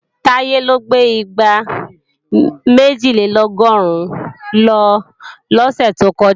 Táyé ló gbé igbá méjìlélọ́gọ́rùn lọ lọ́sẹ̀ tó kọjá